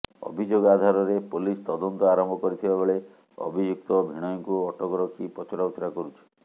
ଅଭିଯୋଗ ଆଧାରରେ ପୋଲିସ ତଦନ୍ତ ଆରମ୍ଭ କରିଥିବା ବେଳେ ଅଭିଯୁକ୍ତ ଭିଣୋଇକୁ ଅଟକ ରଖି ପଚରାଉଚରା କରୁଛି